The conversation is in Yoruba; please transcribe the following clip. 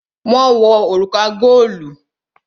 Wọn wo òrùka godi